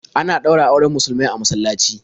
Ana ɗaura auren musulmai a masallaci.